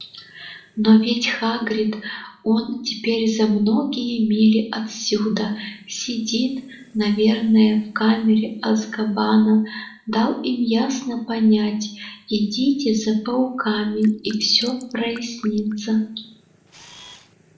но ведь хагрид он теперь за многие мили отсюда сидит наверное в камере азкабана дал им ясно понять идите за пауками и все прояснится